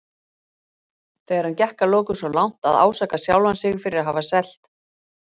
Þegar hann gekk að lokum svo langt að ásaka sjálfan sig fyrir að hafa selt